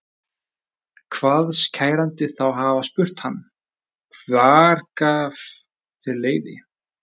Kvaðst kærandi þá hafa spurt hann: Hver gaf þér leyfi?